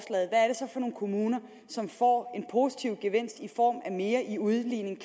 nogle kommuner som får en positiv gevinst i form af mere i udligning